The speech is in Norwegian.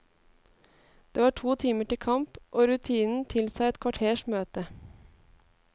Det var to timer til kamp, og rutinen tilsa et kvarters møte.